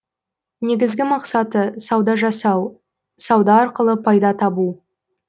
негізгі мақсаты сауда жасау сауда арқылы пайда табу